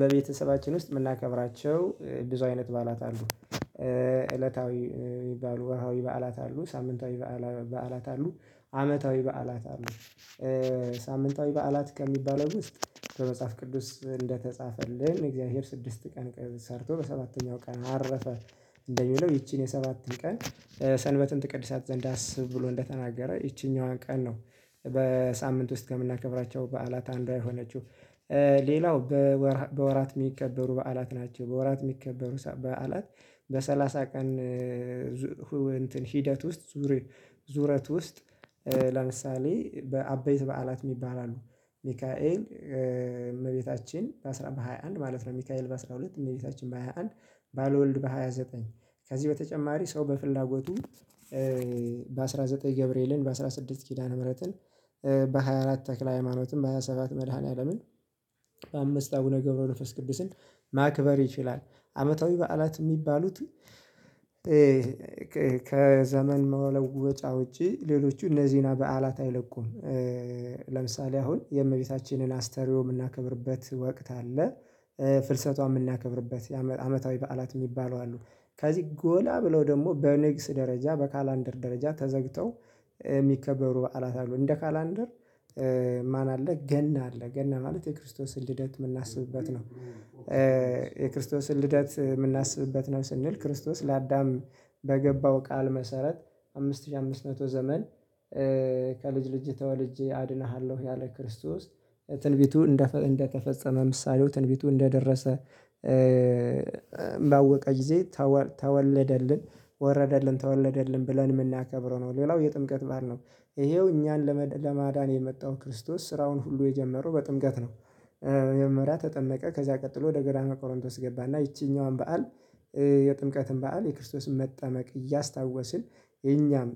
በቤተሰባችን ውስጥ የምናከብራቸው ብዙ አይነት በዓላት አሉ። እለታዊ የሚባሉ ወርሃዊ በዓላት አሉ ሳምንታዊ በዓላት አሉ አመታዊ በዓላት አሉ። ሳምንታዊ በዓላት ከሚባለው ውስጥ በመጽሐፍ ቅዱስ እንደተጻፈልን የእግዚአብሔር ስድስት ቀን ቀይ ሰርቶ በሰባተኛው ቀን አረፈ እንደሚለው ይቺን የሰባትን ቀን ሰንበትን ትቅድሳት ዘንድ አስብ ብሎ እንደተናገረ ይቺኛዋን ቀን ነው በሳምንት ውስጥ ከምናከብራቸው በዓላት አንዳይ የሆነችው ሌላው በወራት የሚከበሩ በዓላት ናቸው በወራት የሚከበሩ በዓላት በሰላሳ ቀን ሂደት ውስጥ ዙረት ውስጥ ለምሳሌ በአበይት በዓላት የሚባል አሉ ሚካኤል እመቤታችን በሃያ አንድ ማለት ነው ሚካኤል በሃያ ሁለት እመቤታችን በሃያ አንድ ባልወልድ በሃያ ዘጠኝ ከዚህ በተጨማሪ ሰው በፍላጎቱ በአስራ ዘጠኝ ገብርኤልን በአስራ ስድስት ኪዳነ ምህረትን በሃያ አራት ተክለ ሃይማኖትም በሃያ ሰባት መድኃኒዓለምን በአምስት አቡነ ገብረነፍስ ቅዱስን ማክበር ይችላል አመታዊ በዓላት የሚባሉት ከዘመን መለወጫ ውጪ ሌሎች እነዚህን በዓላት አይለቁም። ለምሳሌ አሁን የእመቤታችንን አስተርዮ የምናከብርበት ወቅት አለ። ፍልሰቷን የምናከብርበት የአመታዊ በዓላት የሚባለው አሉ ከዚህ ጎላ ብለው ደግሞ በኔክስ ደረጃ በካላንደር ደረጃ ተዘግተው የሚከበሩ በዓላት አሉ እንደ ካላንደር ማን አለ ገና አለ ገና ማለት የክርስቶስን ልደት የምናስብበት ነው። የክርስቶስን ልደት የምናስብበት ነው ስንል ክርስቶስ ለአዳም በገባው ቃል መሰረት አምስት ሺህ አምስት መቶ ዘመን ከልጅ ልጅ ተወልጄ አድንሃለሁ ያለ ክርስተቶስ ትንቢቱ እንደ እንደተፈጸመ ምሳሌው ትንቢቱ እንደደረሰ ባወቀ ጊዜ ተወለደልን ወረደልን ተወለደልን ብለን የምናከብረው ነው ሌላው የጥምቀት ባዓል ነው ይሄው እኛን ለማዳን የመጣው ክርስቶስ ስራውን ሁሉ የጀመረው በጥምቀት ነው። መጀመሪያ ተጠመቀ ከዚያ ቀጥሎ ወደ ግራማ ቆሮንጦስ ገባና ይቺኛዋን በዓል የጥምቀትን በዓል የክርስቶስን መጠመቅ እያስታወስን የኛም